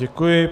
Děkuji.